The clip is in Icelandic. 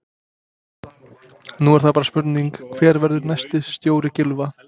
Nú er það bara spurning hver verður næsti stjóri Gylfa?